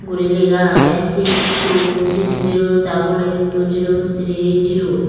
guri lega agey six two six zero doble eight two zero three zero.